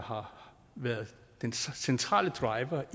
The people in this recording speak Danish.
har været den centrale driver